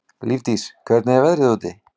Lífdís, hvernig er veðrið úti?